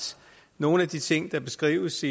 nogle af de ting der beskrives